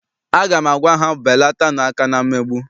Aga m agwa ha, belatanu aka na mmegbu!